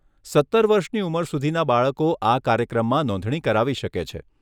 સત્તર વર્ષની ઉંમર સુધીના બાળકો આ કાર્યક્રમમાં નોંધણી કરાવી શકે છે.